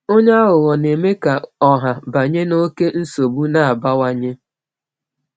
Onye aghụghọ na-eme ka ọha banye n’oké nsogbu na-abawanye.